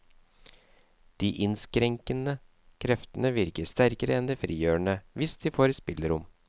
De innskrenkende kreftene virker sterkere enn de frigjørende, hvis de får spillerom.